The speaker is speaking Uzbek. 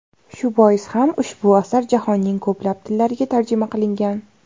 Shu bois ham ushbu asar jahonning ko‘plab tillariga tarjima qilingan.